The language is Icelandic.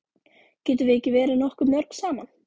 Getum við ekki verið nokkuð mörg saman?